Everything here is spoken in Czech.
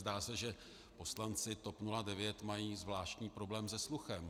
Zdá se, že poslanci TOP 09 mají zvláštní problém se sluchem.